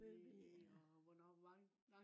løbe i ja